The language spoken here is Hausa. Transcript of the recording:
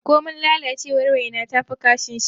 Komin lalacewar waina tafi kashin shanu.